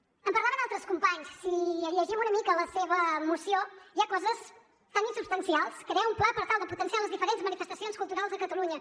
en parlaven altres companys si llegim una mica la seva moció hi ha coses tan insubstancials crear un pla per tal de potenciar les diferents manifestacions culturals a catalunya